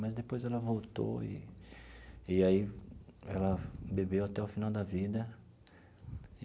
Mas depois ela voltou e e aí ela bebeu até o final da vida.